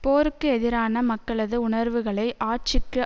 போருக்கு எதிரான மக்களது உணர்வுகளை ஆட்சிக்கு